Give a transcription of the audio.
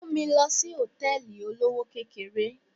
Mú mi lọ sí Hòtẹ́lìì olówó kékeré.